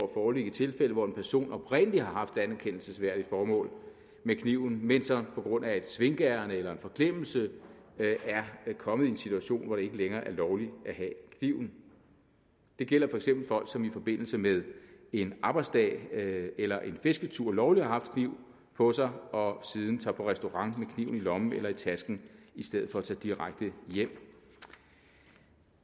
foreligge i tilfælde hvor en person oprindelig har haft anerkendelsesværdige formål med kniven men som på grund af et svinkeærinde eller en forglemmelse er kommet i en situation hvor det ikke længere er lovligt at have kniven det gælder for eksempel folk som i forbindelse med en arbejdsdag eller en fisketur lovligt har haft kniv på sig og siden tager på restaurant med kniven i lommen eller i tasken i stedet for at tage direkte hjem